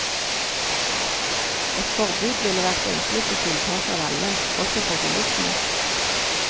Et forbud ville vært det enkleste tiltaket av alle, også for bilistene.